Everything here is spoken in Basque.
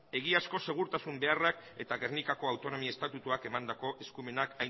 egiazko segurtasun beharrak eta gernikako autonomi estatutuak emandako eskumenak